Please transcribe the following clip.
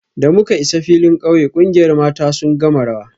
Da muka isa filin kauye, kungiyar mata sun gama rawa